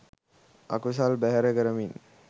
අකුසල් බැහැර කරමින්